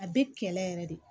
A bɛ kɛlɛ yɛrɛ de